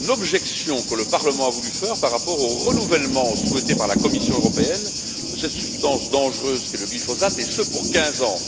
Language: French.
C'est une objection que le Parlement a voulu formuler par rapport au renouvellement souhaité par la Commission européenne de cette substance dangereuse qu'est le glyphosate et ce, pour quinze ans.